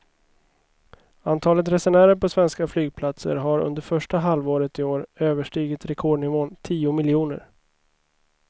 Antalet resenärer på svenska flygplatser har under första halvåret i år överstigit rekordnivån tio miljoner.